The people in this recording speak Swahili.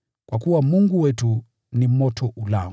kwa kuwa “Mungu wetu ni moto ulao.”